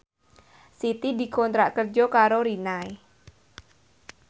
Siti dikontrak kerja karo Rinnai